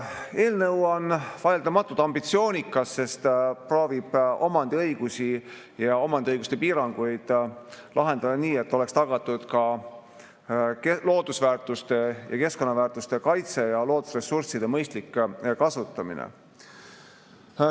Eelnõu on vaieldamatult ambitsioonikas, sest ta proovib omandiõigusi ja omandiõiguste piiranguid lahendada nii, et oleks tagatud ka loodusväärtuste ja keskkonnaväärtuste kaitse ja loodusressursside mõistlik kasutamine.